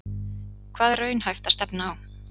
Hvað er raunhæft að stefna á?